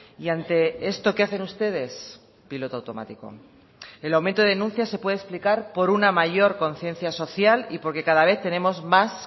y ante esto qué hacen ustedes piloto automático el aumento de denuncias se puede explicar por una mayor conciencia social y porque cada vez tenemos más